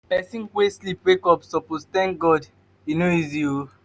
pesin wey sleep wake up suppose tank god e no easy.